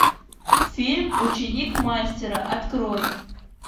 фильм ученик мастера открой